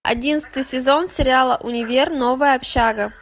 одиннадцатый сезон сериала универ новая общага